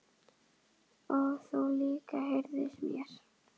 Og þú líka heyrist mér